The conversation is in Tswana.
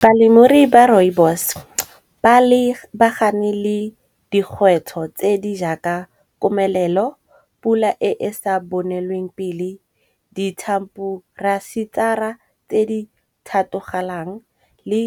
Balemirui ba Rooibos ba lebagane le dikgwetlho tse di jaaka komelelo, pula e e sa bonelweng pele, di tse di thatogalang le